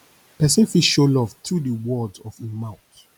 person fit show love through di words of im mouth